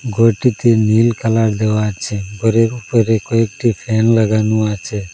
ঘরটিতে নীল কালার দেওয়া আছে ঘরের উপরে কয়েকটি ফ্যান লাগানো আছে।